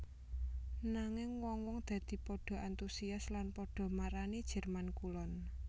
Nanging wong wong dadi padha antusias lan padha marani Jerman Kulon